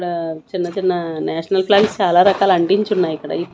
ఇక్కడ చిన్న చిన్న నేషనల్ ఫ్లాగ్స్ చాలా రకాలు అంటించున్నాయి ఇక్కడ--